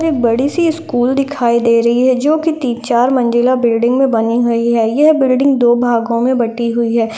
एक बड़ी सी स्कूल दिखाई दे रही है जो की तीन चार मंजिला बिल्डिंग में बनी हुई है यह बिल्डिंग दो भागों में बटी हुई है ।